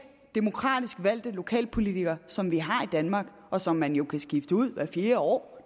demokratisk valgte lokalpolitikere som vi har i danmark og som man jo kan skifte ud hvert fjerde år